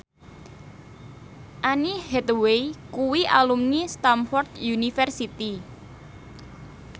Anne Hathaway kuwi alumni Stamford University